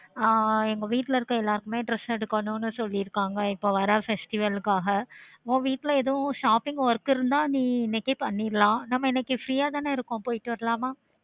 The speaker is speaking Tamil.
ஆஹ் இப்போ வீட்ல இருக்க எல்லாருமே dress எடுக்கணும்னு சொல்ராங்க இப்போ வர festival காக உன் வீட்ல ஏதும் shopping work இருந்தா நீ இன்னைக்கே பண்ணிக்கலாம் நம்ம இன்னைக்கு free ஆ தான இருக்கோம் போயிட்டு வரலாமா